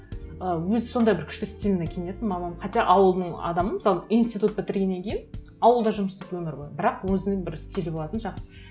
ы өзі сондай бір күшті стильно киінетін мамам хотя ауылдың адамы мысалы институт бітіргеннен кейін ауылда жұмыс істеді өмір бойы бірақ өзінің бір стилі болатын жақсы